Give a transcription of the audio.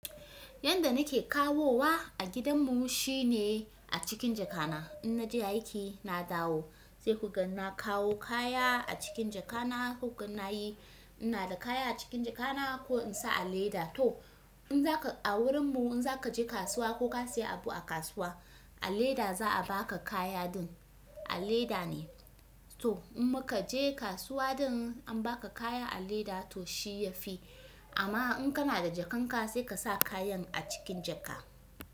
Yanda nake kawowa a gidan mu shine a cikin jakana. In naje aiki na dawo sai kuga na kawo kaya a cikin jakana. Koga na yi. Ina da kaya a cikin jakana ko in sa a leda. To in zaka a wurin mu in zaka je kasuwa ko ka siya abu a kasuwa, a leda za a baka kaya din. A leda ne. To in muka je kasuwa din an baka kaya a leda to shi ya fi. Amma in kana da jakanka sai ka sa kayan a cikin jaka.